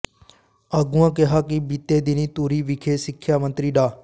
ਆਗੂਆਂ ਕਿਹਾ ਕਿ ਬੀਤੇ ਦਿਨੀਂ ਧੂਰੀ ਵਿਖੇ ਸਿੱਖਿਆ ਮੰਤਰੀ ਡਾ